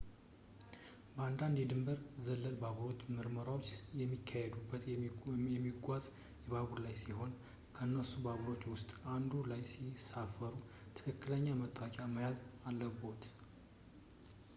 በአንዳንድ ድንበር ዘለል ባቡሮች ምርመራዎች የሚካሄዱት የሚጓዝ ባቡር ላይ ሲሆን ከነሱ ባቡሮች ውስጥ አንዱ ላይ ሲሳፈሩ ትክክለኛ መታወቂያ መያዝ አለብዎት